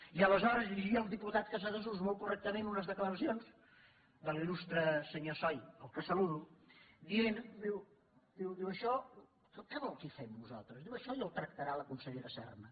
i aleshores llegia el diputat casadesús molt correctament unes declaracions del l’il·lustre senyor soy al qual saludo dient diu això què vol que hi fem nosaltres diu això ja ho tractarà la consellera serna